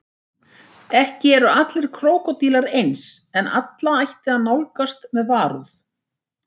Ekki eru allir krókódílar eins en alla ætti að nálgast með varúð.